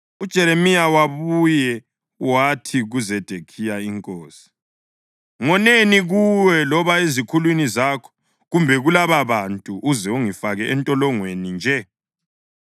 UJeremiya wabuye wathi kuZedekhiya inkosi, “Ngoneni kuwe loba ezikhulwini zakho kumbe kulababantu, uze ungifake entolongweni nje?